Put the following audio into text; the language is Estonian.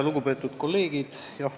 Lugupeetud kolleegid!